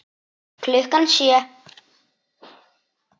Klukkan sjö.